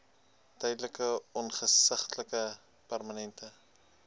tydelike ongeskiktheid permanente